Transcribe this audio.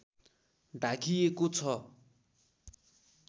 ढाकिएको छ